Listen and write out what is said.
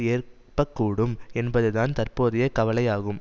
ஏற்பக்கூடும் என்பதுதான் தற்போதைய கவலை ஆகும்